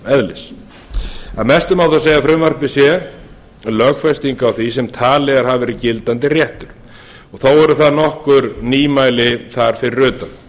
kröfuréttareðlis að mestu má þó segja að frumvarpið sé lögfesting á því sem talið hefur verið gildandi réttur þó eru þar nokkur nýmæli þar fyrir utan